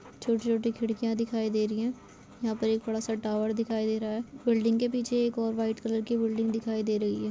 छोटी छोटी खिड़कियां दिखाई दे रही है यहाँ एक बड़ा सा टावर दिखाई दे रहा है बिल्डिंग के पीछे और वाइट कलर की बिल्डिंग दिखाई दे रही है।